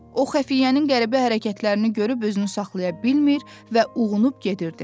O xəfiyyənin qəribə hərəkətlərini görüb özünü saxlaya bilmir və uğunub gedirdi.